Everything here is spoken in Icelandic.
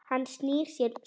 Hann snýr sér snöggt við.